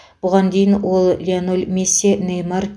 бұған дейін ол леонель месси неймар